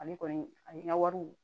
Ale kɔni ani ka wariw